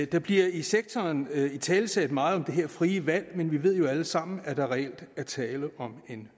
der bliver i sektoren italesat meget om det her frie valg men vi ved jo alle sammen at der reelt er tale om en